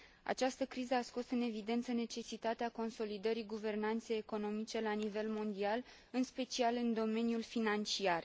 Această criză a scos în evidență necesitatea consolidării guvernanței economice la nivel mondial, în special în domeniul financiar.